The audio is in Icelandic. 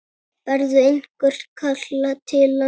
Berðu einhvern kala til hans?